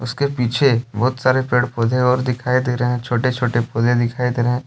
उसके पीछे बहुत सारे पेड़ पौधे और दिखाई दे रहे हैं। छोटे छोटे पौधे दिखाई दे रहे हैं।